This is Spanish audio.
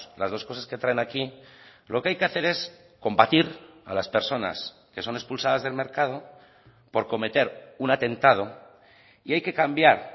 las dos cosas que traen aquí lo que hay que hacer es combatir a las personas que son expulsadas del mercado por cometer un atentado y hay que cambiar